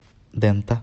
дэнта